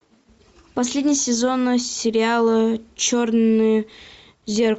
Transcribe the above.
последний сезон сериала черное зеркало